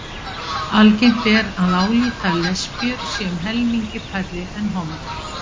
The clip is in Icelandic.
algengt er að álíta að lesbíur séu um helmingi færri en hommar